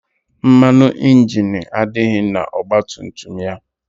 Mmanụ ịnjini adịghị n' ọgbatumtum ya.